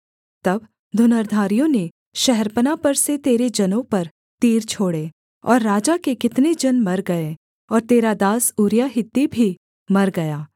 तब धनुर्धारियों ने शहरपनाह पर से तेरे जनों पर तीर छोड़े और राजा के कितने जन मर गए और तेरा दास ऊरिय्याह हित्ती भी मर गया